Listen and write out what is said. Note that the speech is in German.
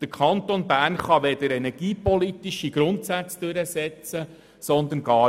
Der Kanton Bern kann weder energiepolitische Grundsätze durchsetzen noch sonst etwas.